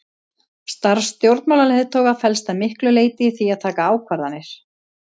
Starf stjórnmálaleiðtoga felst að miklu leyti í því að taka ákvarðanir.